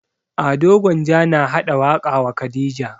Ado gwanja na haɗa waƙa wa khadija